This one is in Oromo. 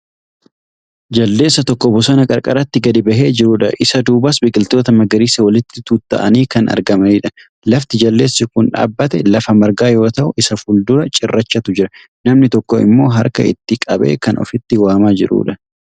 Jaldeessa tokko bosona qarqaratti gadi bahee jirudha. Isa duubas biqiltoota magariisa walitti tuutta'anii kan argamanidha. Lafti jaldeessi kun dhaabbate lafa margaa yoo ta'u isa fuldura cirrachatu jira. Namni tokko immoo harka itti qabee kan ofitti waamaa jirudha.